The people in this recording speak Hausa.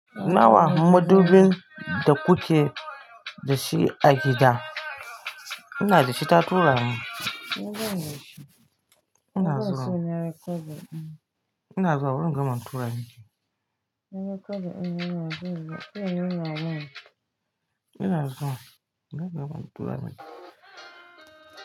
Nawa madubin da kuke da shi a gida? Inna za ki ci tatura ne? Ina zuwa? Ina zuwa bari in gama in tura miki. Ina zuwa? Ina bari in gama in tura miki.